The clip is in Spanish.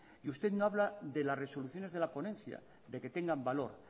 y usted no habla de las resoluciones de la ponencia de que tengan valor